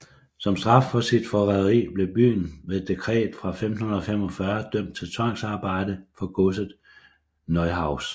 Som straf for sit forræderi blev byen ved et dekret fra 1545 dømt til tvangsarbejde for Godset Neuhaus